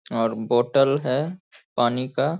और बोतल है पानी का --